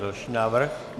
Další návrh.